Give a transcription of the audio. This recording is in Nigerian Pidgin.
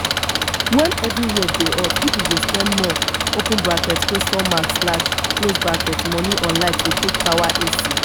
when everywhere dey hot pipo go spend more money on light to take power ac